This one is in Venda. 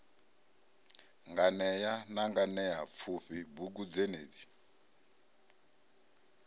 nganea na nganeapfufhi bugu dzenedzi